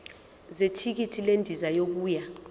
zethikithi lendiza yokuya